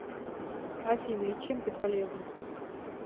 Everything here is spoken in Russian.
афина и чем ты полезна